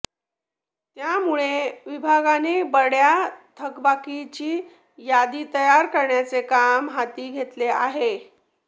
त्यामुळे विभागाने बड्या थकबाकीदारांची यादी तयार करण्याचे काम हाती घेतले आहे